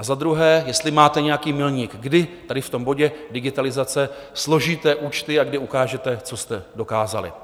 A za druhé, jestli máte nějaký milník, kdy tady v tom bodě digitalizace složíte účty a kdy ukážete, co jste dokázali.